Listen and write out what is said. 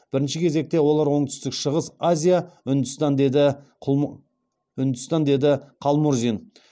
бірінші кезекте олар оңтүстік шығыс азия үндістан деді қалмұрзин